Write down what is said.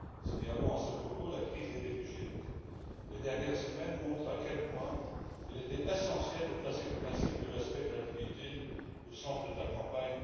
Signalons, à ce propos, la crise des réfugiés. Les dernières semaines montrent à quel point il était essentiel de placer le principe du respect de la dignité au centre de la campagne